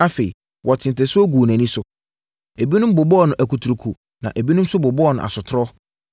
Afei, wɔtee ntasuo guu nʼani so. Ebinom bobɔɔ no akuturuku na ebinom nso bobɔɔ no asotorɔ